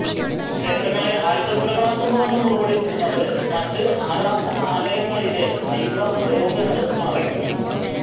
ക്ഷേത്രങ്ങളെ ആയുധപ്പുരകളാക്കുന്നുവെന്ന് മുറവിളി കൂട്ടുന്നവര് മറ്റ് ആരാധനാലയങ്ങളിലെ ആയുധ ഉപയോഗങ്ങള് മറയ്ക്കുന്നു